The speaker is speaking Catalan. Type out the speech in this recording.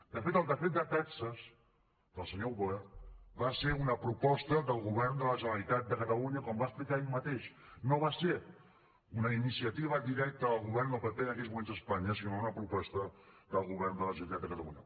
de fet el decret de taxes del senyor wert va ser una proposta del govern de la generalitat de catalunya com va explicar ell mateix no va ser una iniciativa directa del govern del pp en aquells moments a espanya sinó una proposta del govern de la generalitat de catalunya